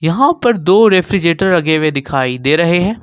यहां पर दो रेफ्रिजरेटर लगे हुए दिखाई दे रहे हैं।